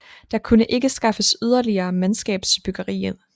Der kunne ikke skaffes yderligere mandskab til byggeri